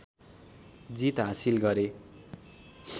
जित हाँसिल गरे